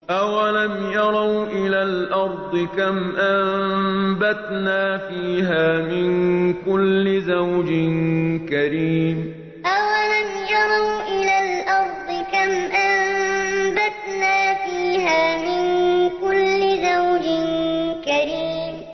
أَوَلَمْ يَرَوْا إِلَى الْأَرْضِ كَمْ أَنبَتْنَا فِيهَا مِن كُلِّ زَوْجٍ كَرِيمٍ أَوَلَمْ يَرَوْا إِلَى الْأَرْضِ كَمْ أَنبَتْنَا فِيهَا مِن كُلِّ زَوْجٍ كَرِيمٍ